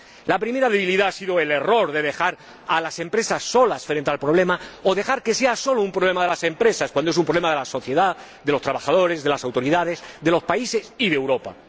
La primera debilidad ha sido el error de dejar a las empresas solas frente al problema, o dejar que sea solo un problema de las empresas, cuando es un problema de la sociedad, de los trabajadores, de las autoridades, de los países y de Europa.